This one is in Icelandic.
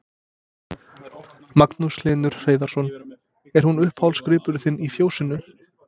Magnús Hlynur Hreiðarsson: Er hún uppáhaldsgripurinn þinn í fjósinu?